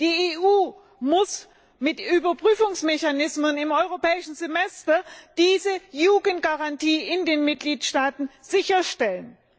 Die EU muss mit Überprüfungsmechanismen im Europäischen Semester diese Jugendgarantie in den Mitgliedstaaten sicherstellen.